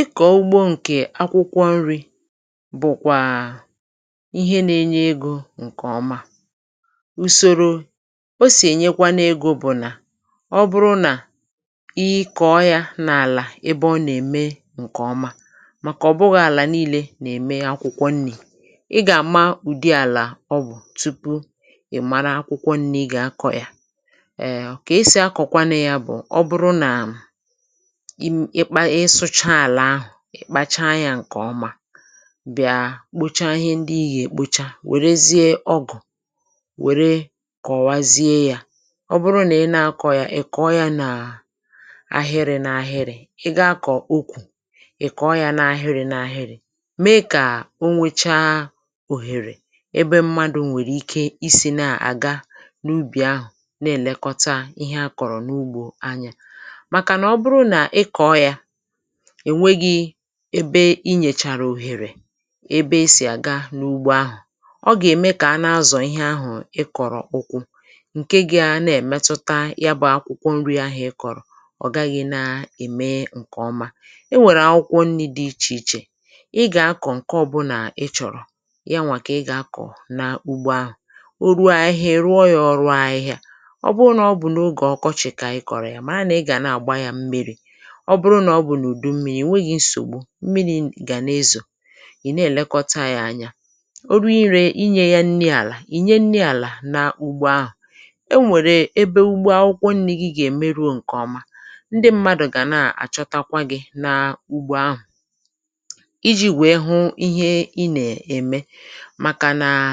Ị kọ̀ọ ugbȯ ǹkè akwụkwọ nri̇ bụ̀kwàà ihe na-enye egȯ ǹkè ọma. Ùsòrò o sì ènyekwanu ego bụ̀ nà, ọ bụrụ nà, ị ikọ̇ yȧ n’àlà ebe ọ nà-ème ǹkè ọma, màkà ọ̀ bụghị̇ àlà niilė nà-ème e akwụkwọ nri̇. Ị gà-àma ụ̀dị àlà ọ bụ̀ tupu ị̀ mara akwụkwọ nri̇ ị gà-akọ̇ yȧ. Um ọ̀... Kà-esì akọ̀kwanu̇ ya bụ̀ ọ bụrụ nà im ikpa ị sụcha àlà ahụ̀, ị̀ kpacha anyȧ ǹkè ọma, bịàa kpocha ihe ndị ị̀ ya-èkpocha, wèrezie ọgụ̀, wère kọwazie yȧ. Ọ bụrụ nà ị na-akọ̇ ya, ị̀ kọọ yȧ nàà ahịrị̇ n’ahịrị̇. Ị ga-akọ̀ okwù, ị̀ kọọ yȧ n’ahịrị̇ n’ahịrị̇, mee kà o nwėcha òhèrè ebe mmadụ̀ nwèrè ike isi̇ na-àga n’ubì ahụ̀ na-èlekọta ihe a kọ̀rọ̀ n’ugbȯ anyȧ. Maka nà ọ bụrụ na ị̀ kọọ yȧ, ẹ̀nwẹghị̇ ẹbe i nyẹ̀chàrà òhèrè ẹbẹ esì àga n’ugbo ahụ̀, ọ gà ẹ̀mẹ kà a nà-azọ̀ ihe ahụ̀ ị kọ̀rọ̀ ụkwụ, ǹkẹ gà a nà-ẹ̀mẹtụta ya bụ̇ akwụkwọ nri ahụ̀ ị kọ̀rọ̀ ọ̀ gaghị̇ nàà-ẹ̀mẹ ǹkẹ̀ ọma. E nwèrè akwụkwọ nni̇ dị ichè ichè; ị gà akọ̀ ǹkẹ ọbụnà ị chọ̀rọ̀, yanwà kà ị gà akọ̀ nà ugbo ahụ̀. O ruo ahịhịa, ị̀ ruo ya ọrụ ahịhịa. Ọ bụrụ n’ọbụ n’ogè ọkọchị̀ kà ị kọ̀rọ̀ ya, màra nà ị gà na-àgba yȧ mmi̇ri̇. Ọ bụrụ nà ọ bụ̀ n’ùdu mmị̀rị̀, ị nweghị nsògbu, mmiri̇ n gà na-ezo, ị na-èlekọta yȧ anya. O ruo ire inyė ya nni àlà, ị nye nni àlà nȧ úgbò ahụ̀. E nwèrè ebe ugbo akwụkwọ nni̇ gi gà èmeruo ǹkè ọma, ndị m̀madụ̀ gà na-àchọtakwa gi̇ n’ugbȯ ahụ̀, iji̇ wèe hụ ihe ị nà-ème; màkà nàa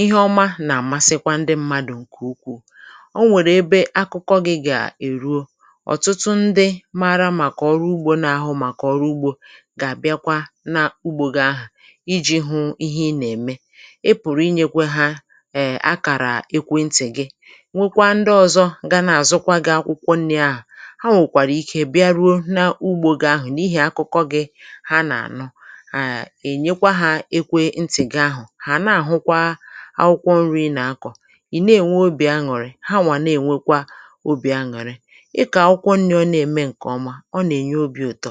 ihe ọma nà-àmasịkwa ndị mmadụ̀ ǹkè ukwuù. O nwèrè ebe akụkọ gi̇ gà èruo, ọtụtụ ndi maara maka ọrụ ugbo, na-ahụ maka ọrụ ugbo, gà-àbịakwa n’ugbȯ gi ahụ̀ iji̇ hụ̇ ihe ị nà-ème. Ị pụ̀rụ̀ inyėkwe hȧ um akàrà ekwe ntị̀ gi. Nwekwaa ndị ọ̇zọ̇ ga na-àzụkwa gi̇ akwụkwọ nni̇ ahụ̀; ha nwèkwàrà ike bịa ruo n’ugbȯ gi ahụ̀ n’ihì akụkọ gi ha nà-ànu, um, ènyekwa hȧ ekwe ntị̀ gi ahụ̀, hà na-àhụkwa akwụkwọ nri̇ ị nà-akọ̀, ị na-ènwe obì aṅụ̀rị̀, hanwà na-ènwekwa obì aṅụ̀rị̀. Ị kọọ akwụkwọ nni̇ ọ na-ème ǹkè ọma, ọ na-enye obi ụtọ.